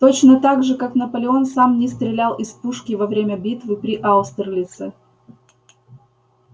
точно так же как наполеон сам не стрелял из пушки во время битвы при аустерлице